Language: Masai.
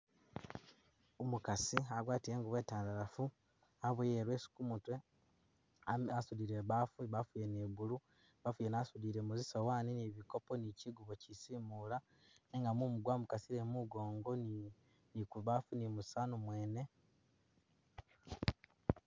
Umukasi agwatile ingubo itandalafu, aboyile ileso kumutwe, asudile ibafu ibafu yene iya blue, ibafu yene asudilemo zisowani nibikopo ni kyigubo kyisimula nenga mumu gwamukasile mumugongo ni kubafu ni musani mwene.